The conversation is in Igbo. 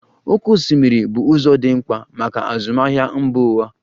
Oké osimiri bụ ụzọ dị mkpa maka azụmahịa mba ụwa.